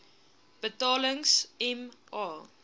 betalings m a